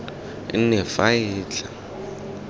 nne faele e e tla